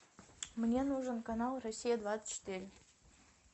мне нужен канал россия двадцать четыре